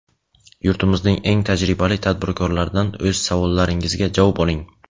yurtimizning eng tajribali tadbirkorlaridan o‘z savollaringizga javob oling!.